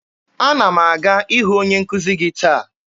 Ana m aga ịhụ onye nkuzi gị taa.